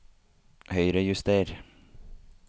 Høyrejuster